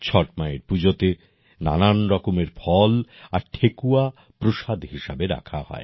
ছট মায়ের পুজোতে নানা রকমের ফল আর ঠেকুয়া প্রসাদ হিসাবে রাখা হয়